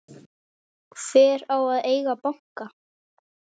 Hver á að eiga banka?